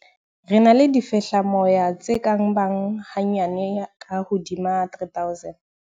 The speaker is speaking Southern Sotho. "Re na le difehlamoya tse ka bang hanyane ka hodima 3 000."